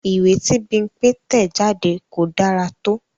Ìwé tí Bímpé tẹ̀ jáde kò dára tó